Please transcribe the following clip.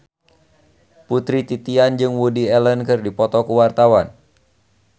Putri Titian jeung Woody Allen keur dipoto ku wartawan